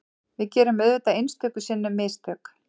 Við gerum auðvitað einstöku sinnum mistök